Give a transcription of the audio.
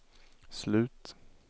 slut